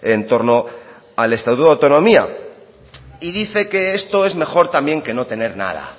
en torno al estatuto de autonomía y dice que esto es mejor también que no tener nada